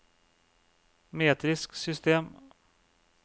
metrisk system